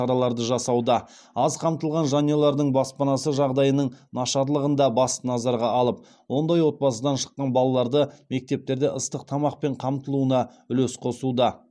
аз қамтылған жанұялардың баспанасы жағдайының нашарлығын да басты назарға алып ондай отбасыдан шыққан балаларды мектептерде ыстық тамақпен қамтылуына үлес қосуда